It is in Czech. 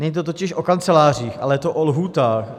Není to totiž o kancelářích, ale je to o lhůtách.